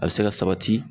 A bɛ se ka sabati